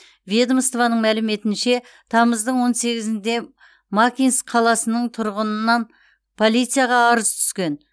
ведомствоның мәліметінше тамыздың он сегізде макинск қаласының тұрғынынан полицияға арыз түскен